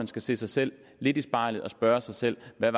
skal se sig selv lidt i spejlet og spørge sig selv hvad